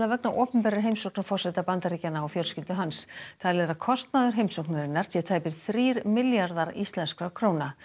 vegna opinberrar heimsóknar forseta Bandaríkjanna og fjölskyldu hans talið er að kostnaður heimsóknarinnar sé tæpir þrír milljarðar íslenskra króna